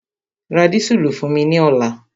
Ra dísùlù fún mi ní ọ̀la!